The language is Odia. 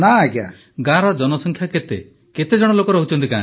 ପ୍ରଧାନମନ୍ତ୍ରୀ ଗାଁର ଜନସଂଖ୍ୟା କେତେ କେତେଜଣ ଲୋକ ରହୁଛନ୍ତି ଗାଁରେ